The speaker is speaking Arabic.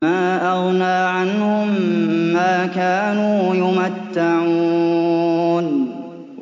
مَا أَغْنَىٰ عَنْهُم مَّا كَانُوا يُمَتَّعُونَ